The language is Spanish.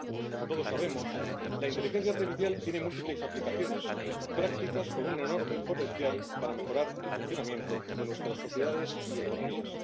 Como todos sabemos, la inteligencia artificial tiene múltiples aplicaciones prácticas con un enorme potencial para mejorar el funcionamiento de nuestras sociedades y economías.